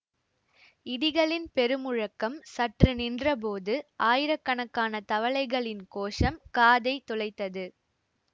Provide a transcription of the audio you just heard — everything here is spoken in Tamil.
இடிகளின் பெருமுழக்கம் சற்று நின்றபோது ஆயிரக்கணக்கான தவளைகளின் கோஷம் காதைத் தொளைத்தது